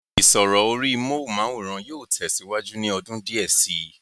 ìsọ̀rọ̀ orí móhùnmáwòrán yóò tẹ̀ síwájú ní ọdún díẹ̀ sí i